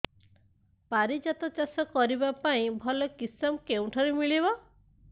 ପାରିଜାତ ଚାଷ କରିବା ପାଇଁ ଭଲ କିଶମ କେଉଁଠାରୁ ମିଳିବ